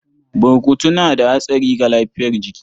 Burkutu na da hatsari ga lafiyar jiki.